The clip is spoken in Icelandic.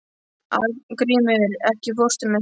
Arngrímur, ekki fórstu með þeim?